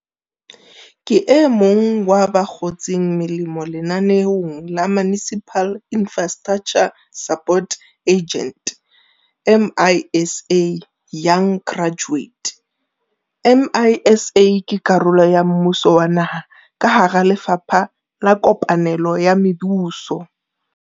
Ke emong wa ba kgotseng molemo lenaneong la Municipal Infrastructure Support Agent, MISA, Young Graduate. MISA ke karolo ya mmuso wa naha ka hara Lefapha la Kopanelo ya Mebuso.